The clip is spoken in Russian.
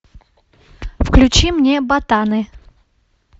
включи мне ботаны